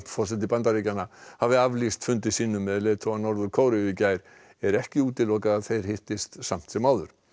forseti Bandaríkjanna hafi aflýst fundi sínum með leiðtoga Norður Kóreu í gær er ekki útilokað að þeir hittist samt sem áður